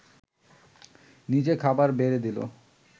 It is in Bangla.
নিজে খাবার বেড়ে দিল